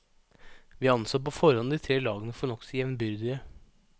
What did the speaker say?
Vi anså på forhånd de tre lagene for nokså jevnbyrdige.